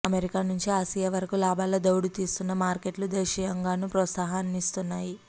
America నుంచి Asia వరకూ లాభాల దౌడు తీస్తున్న మార్కెట్లు దేశీయంగానూ ప్రోత్సాహాన్నిస్తున్నాయి